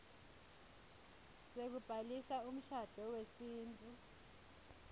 sekubhalisa umshado wesintfu